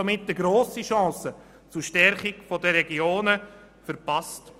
Damit hat er eine grosse Chance zur Stärkung der Regionen verpasst.